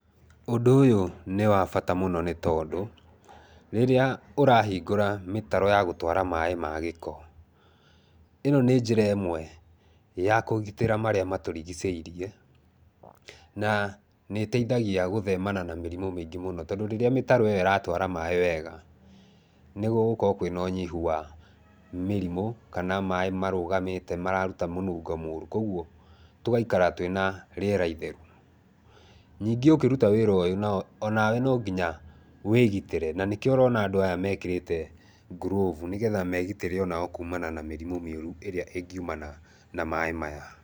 Ũndũ ũyũ nĩ wa bata mũno nĩ tondũ rĩrĩa ũrahingũra mĩtaro ya gũtwara maaĩ ma gĩko, ĩno nĩ njĩra ĩmwe ya kũgitĩra marĩa matũrigicĩirie. Na nĩ ĩteithagia gũthemana na mĩrimũ mĩingĩ mũno tondũ rĩrĩa mĩtaro ĩyo ĩratwara maaĩ wega, nĩ gũgũkorwo kwĩna ũnyihu wa mĩrimũ kana maaĩ marũgamĩte mararuta mũnungo mũru. Kwoguo, tũgaikara twĩna rĩera itheru. Nyingĩ ũkĩruta wĩra ũyũ, o nawe no nginya wĩgitĩre na nĩkĩo ũrona andũ aya mekĩrĩte glove nĩgetha megitĩre o nao kuumana na mĩrimũ mĩũru ĩrĩa ĩngiumana na maaĩ maya.